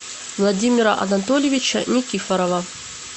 владимира анатольевича никифорова